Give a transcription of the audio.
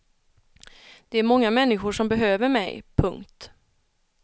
Det är många människor som behöver mig. punkt